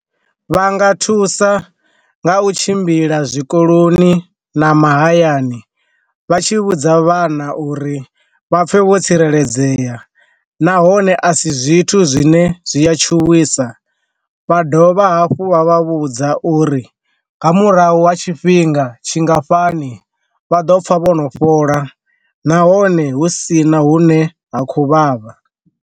Vha nga thusa nga u tshimbila zwikoloni na mahayani vha tshi vhudza vhana uri vha pfhe vho tsireledzea nahone a si zwithu zwine zwi ya tshithu tshuwisa, vha dovha hafhu vha vha vhudza uri nga murahu ha tshifhinga tshingafhani vha ḓo pfha vho no fhola nahone hu sina hu ne ha khou vhavha.